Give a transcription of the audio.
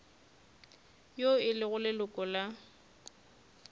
yo e lego leloko la